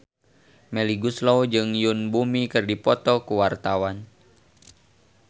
Melly Goeslaw jeung Yoon Bomi keur dipoto ku wartawan